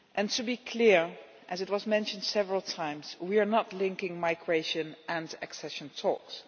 To be clear, as has been mentioned several times, we are not linking migration and accession talks.